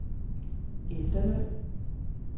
efterløn